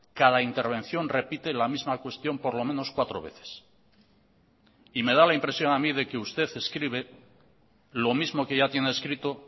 cada intervención repite la misma cuestión por lo menos cuatro veces y me da la impresión a mí de que usted escribe lo mismo que ya tiene escrito